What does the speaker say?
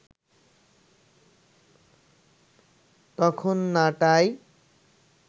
তখন নাটাই